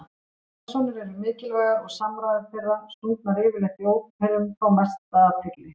Persónur eru mikilvægar og samræður þeirra, sungnar yfirleitt í óperum, fá mesta athygli.